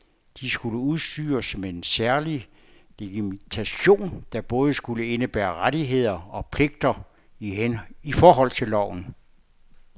De skulle udstyres med særlig legitimation, der både skulle indebære rettigheder og pligter i forhold til loven.